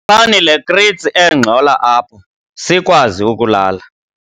Khuphani le kritsi engxola apha sikwazi ukulala.